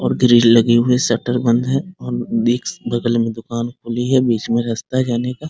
और ग्रिल लगी हुई है शटर बंद है और देख बगल में दुकान खुली है बीच में रास्ता है जाने का ।